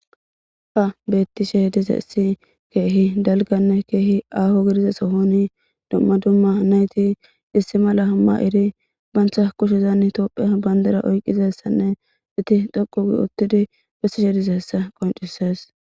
Ha betishe dizaysi kehi daliganne kehi aho gidiza Sohoni duma duma nayti issi Mala ma'idi banta kushezani topiya bandira oyqizaysanne eti dhoqu otidi besishe dizaysa qonc'ses.